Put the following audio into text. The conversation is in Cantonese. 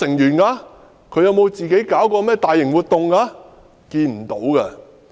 陳浩天有否舉辦過大型活動？